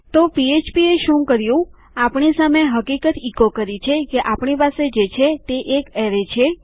તો પીએચપીએ શું કર્યું આપણી સામે હકીકત ઇકો કરી છે કે આપણી પાસે જે છે તે એક એરેય છે